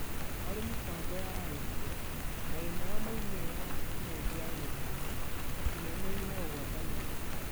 Harĩ mĩbango ya arutwo, na ĩmwe ya moimĩrĩra na Tekinoronjĩ ya Gĩthomo, ũkinyanĩria na ũgwatanĩri.